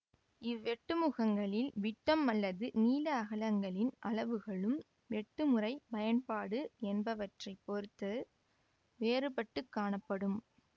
இவ்வெட்டு முகங்களின் விட்டம் அல்லது நீள அகலங்களின் அளவுகளும் வெட்டும் முறை பயன்பாடு என்பவற்றை பொறுத்து வேறுபட்டுக் காணப்படும்